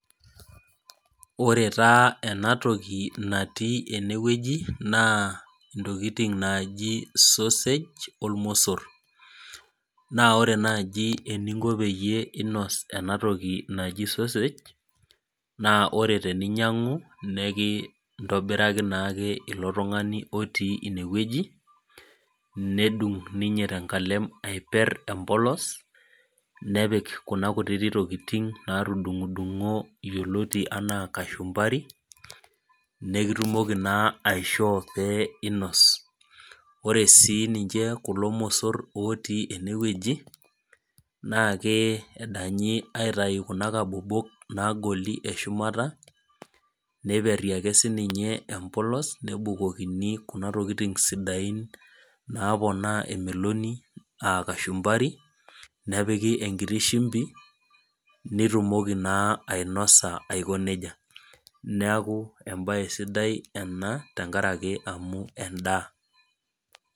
Ore tas enatoki natii enewueji, naa intokiting naji sausage, ormosor. Na ore naji eninko peyie inos enatoki naji sausage, naa ore teninyang'u, nekintobiraki naake ilo tung'ani otii inewueji, nedung' inye tenkalem aiper empolos, nepik kuna kutitik tokiting natudung'udung'o yioloti enaa kashumbari, nekitumoki naa aishoo pee inos. Ore si ninche kulo mosor otii enewueji, naake edanyi aitayu kuna kabobok nagoli eshumata, neiperri ake sininye empolos, nebukokini kuna tokiting sidain naponaa emeloni ah kashumbari, nepiki enkiti shimbi, nitumoki naa ainosa aiko nejia. Neeku ebae sidai ena, tenkaraki amu endaa.